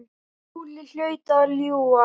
Skúli hlaut að ljúga.